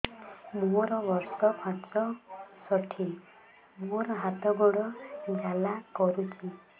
ମୋର ବର୍ଷ ପଞ୍ଚଷଠି ମୋର ହାତ ଗୋଡ଼ ଜାଲା କରୁଛି